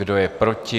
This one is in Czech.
Kdo je proti?